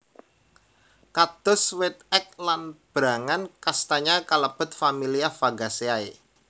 Kados wit ek lan berangan kastanya kalebet familia Fagaceae